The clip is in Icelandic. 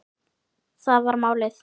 Það var málið.